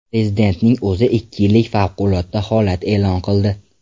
Prezidentning o‘zi ikki yillik favqulodda holat e’lon qildi.